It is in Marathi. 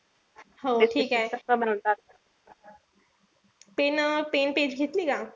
हो ठीकेय pen pen page घेतली का?